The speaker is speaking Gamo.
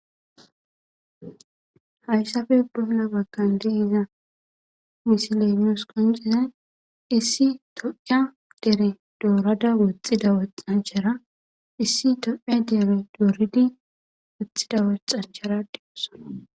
Hayssappe bolla baggan de'iya misile nusi qonccidayi issi tophphiya dere dorada wotido wotanchchera issi tophphiyan dere dorido woxida wotanchchara dees.